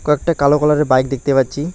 কয়েকটা কালো কালারের বাইক দেখতে পাচ্ছি।